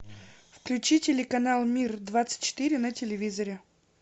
включи телеканал мир двадцать четыре на телевизоре